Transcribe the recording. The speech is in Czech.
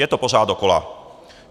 Je to pořád dokola.